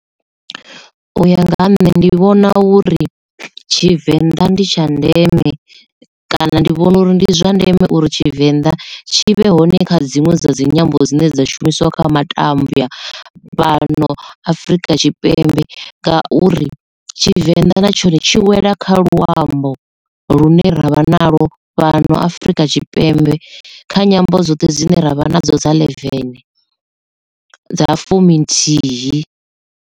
U ya nga ha nṋe ndi vhona uri tshivenḓa ndi tsha ndeme kana ndi vhona uri ndi zwa ndeme uri tshivenḓa tshi vhe hone kha dzinwe dza dzinyambo dzine dza shumisiwa kha matambya fhano afrika tshipembe ngauri tshivenḓa na tshone tshi wela kha luambo lune ravha naḽo fhano Afrika Tshipembe kha nyambo dzoṱhe dzine ra vha nadzo dza ḽevene dza fumi nthihi.